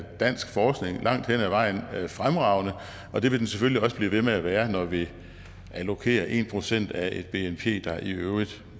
dansk forskning langt hen ad vejen fremragende og det vil den selvfølgelig også blive ved med at være når vi allokerer en procent af et bnp der i øvrigt